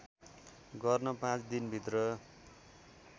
गर्न पाँच दिनभित्र